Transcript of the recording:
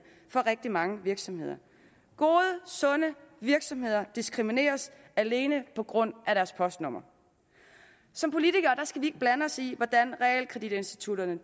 for rigtig mange virksomheder gode sunde virksomheder diskrimineres alene på grund af deres postnummer som politikere skal vi ikke blande os i hvordan realkreditinstitutterne